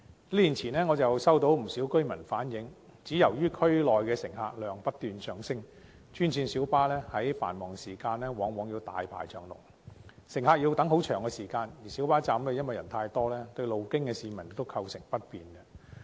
數年前，我收到不少居民反映，由於區內乘客量不斷上升，專線小巴在繁忙時段往往大排長龍，乘客要等候很長時間，而且小巴站人數太多，對路經的市民亦構成不便。